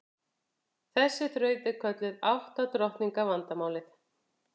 Þessi þraut er kölluð átta drottninga vandamálið.